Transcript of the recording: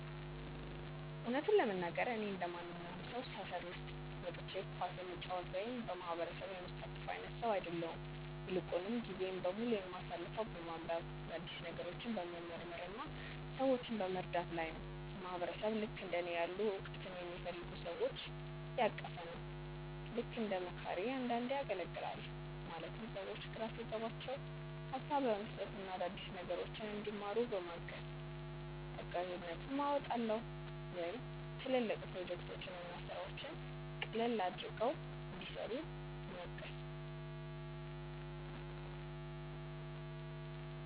እውነቱን ለመናገር፣ እኔ እንደማንኛውም ሰው ሰፈር ውስጥ ወጥቼ ኳስ የምጫወት ወይም በየማህበሩ የምሳተፍ አይነት ሰው አይደለሁም። ይልቁንም ጊዜዬን በሙሉ የማሳልፈው በማንበብ፣ አዳዲስ ነገሮችን በመመርመር እና ሰዎችን በመርዳት ላይ ነው። ማህበረሰብ ልክእንደ እኔ ያሉ እውቀትን የሚፈልጉ ሰዎችን ያቀፈ ነው። ልክ እንደ መካሪ አንዳንዴ አገልግላለሁ ማለትም ሰዎች ግራ ሲገባቸው ሀሳብ በመስጠት እና አዳዲስ ነገሮችን እንዲማሩ በማገዝ። እጋዥነትም አወጣለሁ ወይም ትልልቅ ፕሮጀክቶችን እና ስራዎችን ቀለል አድርገው እንዲሰሩ ምገዝ።